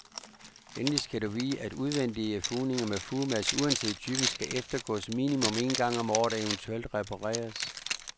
Endelig skal du vide at udvendige fugninger med fugemasse, uanset typen, skal eftergås minimum en gang om året og eventuelt repareres.